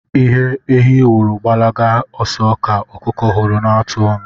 Ihe ehi hụrụ gbalaba oso ka okuku huru na-atụ onu